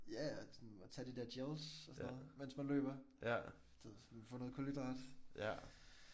Ja ja og sådan at tage de der gels og sådan noget mens man løber. Så man kan få noget kulhydrat